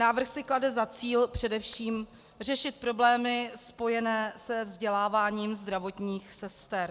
Návrh si klade za cíl především řešit problémy spojené se vzděláváním zdravotních sester.